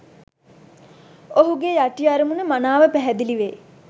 ඔහුගේ යටි අරමුණ මනාව පැහැදිලිවේ.